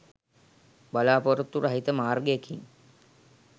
බලා‍පොරොත්තු රහිත මාර්ගයකින්